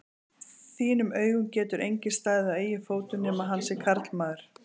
þínum augum getur enginn staðið á eigin fótum nema hann sé karlmaður.